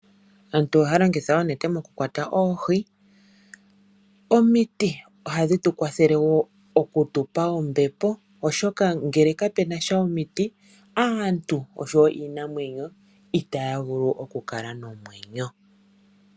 Aantu ohaya longitha oonete mokukwata oohi. Omiti ohadhi tu kwathele oku tu pa ombepo, oshoka ngele kapu na sha omiti aantu oshowo iinamwenyo itaya vulu okukala nomwenyo.